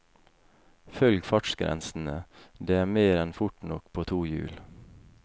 Følg fartsgrensene, det er mer enn fort nok på to hjul.